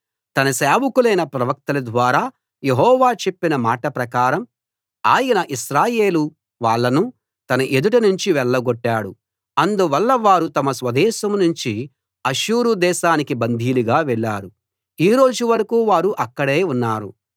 తన సేవకులైన ప్రవక్తల ద్వారా యెహోవా చెప్పిన మాట ప్రకారం ఆయన ఇశ్రాయేలు వాళ్ళను తన ఎదుట నుంచి వెళ్ళగొట్టాడు అందువల్ల వారు తమ స్వదేశం నుంచి అష్షూరు దేశానికి బందీలుగా వెళ్ళారు ఈ రోజు వరకూ వారు అక్కడే ఉన్నారు